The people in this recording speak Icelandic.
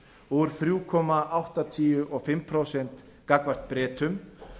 úr þremur komma áttatíu og fimm prósent gagnvart bretum